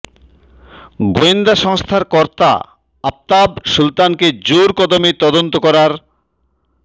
গোয়েন্দা সংস্থার কর্তা আফতাব সুলতানকে জোর কদমে তদন্ত করার